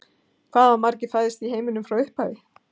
Hvað hafa margir fæðst í heiminum frá upphafi?